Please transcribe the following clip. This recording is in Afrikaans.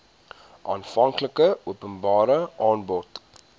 aanvanklike openbare aanbod